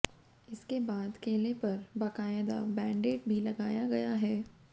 इसके बाद केले पर बाकायदा बैंडेड भी लगाया गया है